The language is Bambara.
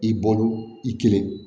I bolo i kelen